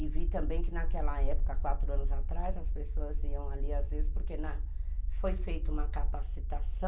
E vi também que naquela época, quatro anos atrás, as pessoas iam ali às vezes porque foi feita uma capacitação